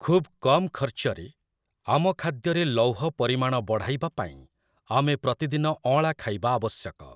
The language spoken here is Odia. ଖୁବ୍ କମ୍ ଖର୍ଚ୍ଚରେ ଆମ ଖାଦ୍ୟରେ ଲୌହ ପରିମାଣ ବଢ଼ାଇବା ପାଇଁ ଆମେ ପ୍ରତିଦିନ ଅଁଳା ଖାଇବା ଆବଶ୍ୟକ ।